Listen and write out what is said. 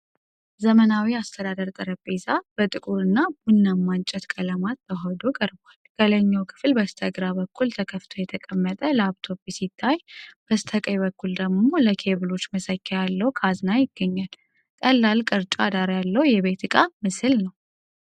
ዘመናዊ የአስተዳደር ጠረጴዛ (executive desk) በጥቁር እና ቡናማ እንጨት ቀለማት ተዋህዶ ቀርቧል። ከላይኛው ክፍል በስተግራ በኩል ተከፍቶ የተቀመጠ ላፕቶፕ ሲታይ፣ በስተቀኝ በኩል ደግሞ ለኬብሎች መሰኪያ ያለው ካዝና ይገኛል። ቀላል ግራጫ ዳራ ያለው የቤት ዕቃ ምስል ነው።